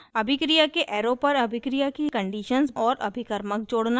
अभिक्रिया के arrow पर अभिक्रिया की conditions और अभिकर्मक जोड़ना